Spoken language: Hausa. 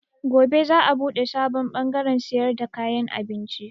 Gobe za a buɗe sabon bangarrn siyar da kayan abinci.